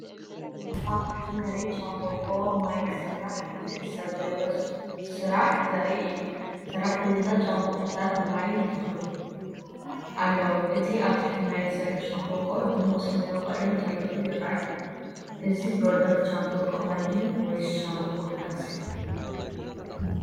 ኣብ ትሕቲ መሬት ሻምብቆ ማይ ክስራሕ ዝሕሰብ ዘሎ ስራሕ ዘርኢ እዩ። ሰራሕተኛታት ሻምብቆታት ማይ ይተኽሉ ኣለዉ፣ እቲ ኣብ ትሕቲ መሬት ዘሎ ሻምብቆ ድሙቕ ሰማያዊ ቀለም ተለኺዩ ይረኣይ። እዚ ፕሮጀክት ሻምብቆ ማይ ድዩ ወይስ ሻምብቆ ጋዝ?